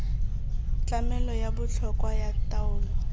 tlamelo ya botlhokwa ya taolo